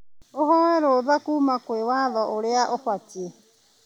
Ũhoe rũtha kuma kwĩ watho ũrĩa ũbatiĩ.